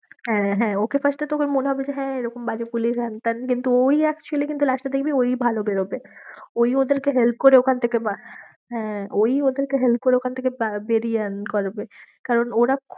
হ্যাঁ, হ্যাঁ ওকে first এ তোকে মনে হবে যে হ্যাঁ, এরকম রাগী পুলিশ হ্যাংত্যান কিন্তু ওই actually কিন্তু last এ দেখবি ওই ভালো বেরোবে, ওই ওদেরকে help করে ওখান থেকে হ্যাঁ, ওই ওদেরকে help করে ওখান থেকে বেরিয়ে আনা করাবে, কারণ ওরা